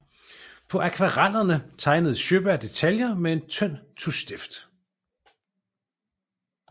På akvarellerne tegnede Sjöberg detaljer med en tynd tuschstift